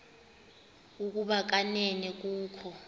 ukuba kanene kukho